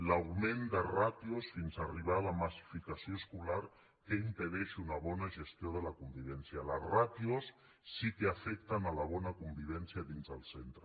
l’augment de ràtios fins a arribar a la massificació escolar que impedeix una bona gestió de la convivència les ràtios sí que afecten la bona convivència dins del centre